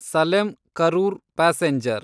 Salem Karur passenger